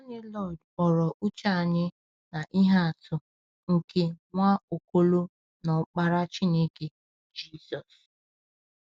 Nwanne Lloyd kpọrọ uche anyị na ihe atụ nke Nwaokolo na Ọkpara Chineke, Jizọs.